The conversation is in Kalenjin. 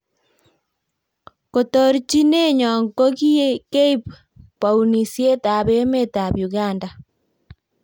kotorchinenyo ko keib bounisiet ab emetab uganda